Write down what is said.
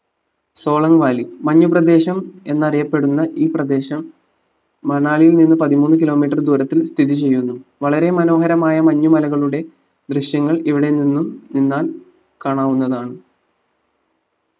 Solang valley മഞ്ഞു പ്രദേശം എന്നറിയപ്പെടുന്ന ഈ പ്രദേശം മണലിയിൽ നിന്നും പതിമൂന്ന് kilometre ദൂരത്തിൽ സ്ഥിതി ചെയ്യുന്നു വളരെ മനോഹരമായ മഞ്ഞു മലകളുടെ ദൃശ്യങ്ങൾ ഇവിടെ നിന്നും നിന്നാൽ കാണാവുന്നതാണ്